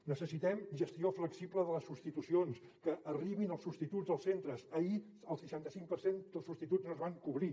necessitem gestió flexible de les substitucions que arribin els substituts als centres ahir el seixanta cinc per cent de substituts no es van cobrir